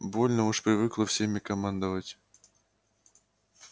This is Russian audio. больно уж привыкла всеми командовать